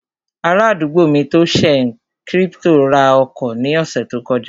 Ará àdúgbò mi tó n ṣe kírípítò ra ọkọ̀ ní ọ̀sẹ̀ tó kọjá